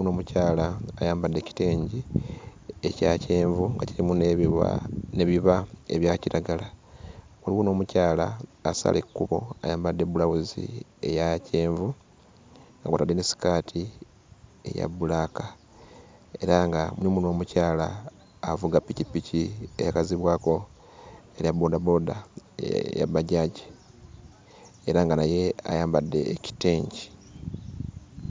n'omukyala ayambadde ekitengi ekya kyenvu ekirimu n'ebiba ebya kiragala waliwo n'omukyala asala ekkubo ayambadde bbulawuzi eya kyenvu nga kw'otadde ne ssikaati eya bbulaaka era nga mulimu n'omukyala avuga ppikippiki eyakazibwako erya boodabooda eya bbajaaji era nga naye ayambadde ekitengi.